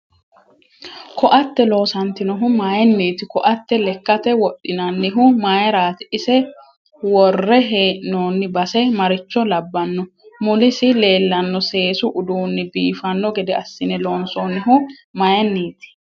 Ko'atte loosantinohu mayiiniti ko'atte lekkate wodhinanihu mayiirati ise worre heenooni base maricho labbano mulsi leelanno seesu uduuni biifanno gede assine loonsoonihu mayiiniiti